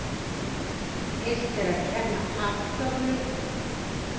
Illt er að kenna afgömlum.